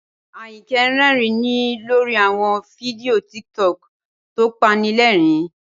Ayinke rẹ́rìn-ín lórí àwọn fídíò TikTok tó pani lẹ́rìn-ín